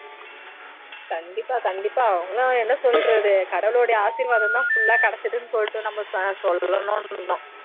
கண்டிப்பா கண்டிப்பா அவங்கல்லாம் என்ன சொல்றது கடவுளோட ஆசிர்வாதம்தான் full ஆ கிடச்சிதுன்னு சொல்லிட்டு சொல்லணும்னு இருந்தோம்